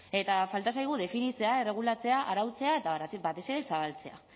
eta falta zaigu definitzea erregulatzea arautzea eta batez ere zabaltzea